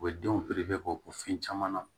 U bɛ denw k'o fɛn caman na